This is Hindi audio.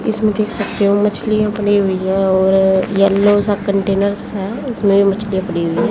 इसमें देख सकते हो मछलियां बनी हुई है और येलो सा कंटेनर्स है उसमें मछलियां पड़ी हुई है।